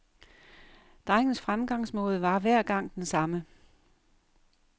Drengens fremgangsmåde var hver gang den samme.